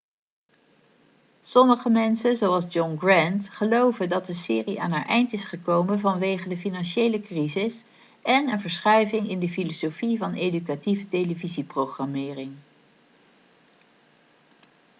sommige mensen zoals john grant geloven dat de serie aan haar eind is gekomen vanwege de financiële crisis en een verschuiving in de filosofie van educatieve televisieprogrammering